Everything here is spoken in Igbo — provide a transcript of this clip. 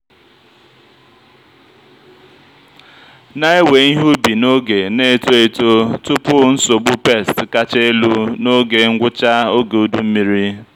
na-ewe ihe ubi n'oge na-eto eto tupu nsogbu pests kacha elu n'oge ngwụcha oge udu mmiri.